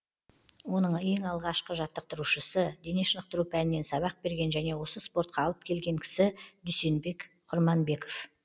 оның ең алғашқы жаттықтырушысы дене шынықтыру пәнінен сабақ берген және осы спортқа алып келген кісі дүйсенбек құрманбеков